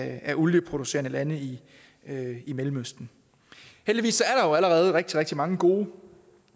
af olieproducerende lande i mellemøsten heldigvis er der jo allerede rigtig rigtig mange gode